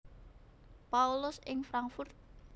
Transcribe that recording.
Paulus ing Frankfurt